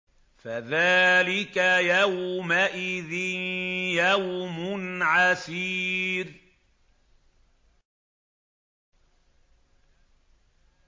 فَذَٰلِكَ يَوْمَئِذٍ يَوْمٌ عَسِيرٌ